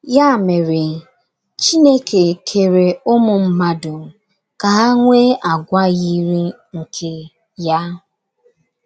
Ya mere, Chineke kere ụmụ mmadụ ka ha nwee àgwà yiri nke ya.